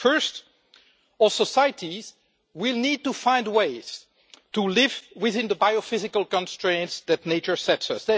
First, all societies need to find ways to live within the biophysical constraints that nature sets us.